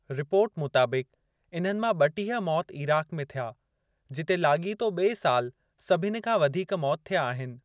Report मुताबिक़, इन्हनि मां ब॒टीह मौत इराक में थिया, जिते लाॻीतो ॿिए साल सभनि खां वधीक मौत थिया आहिनि।